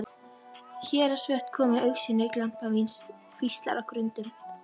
Héraðsvötn komu í augsýn, glampandi kvíslar á grundum.